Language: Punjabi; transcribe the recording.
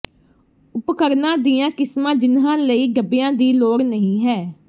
ਉਪਕਰਣਾਂ ਦੀਆਂ ਕਿਸਮਾਂ ਜਿਨ੍ਹਾਂ ਲਈ ਡੱਬਿਆਂ ਦੀ ਲੋੜ ਨਹੀਂ ਹੈ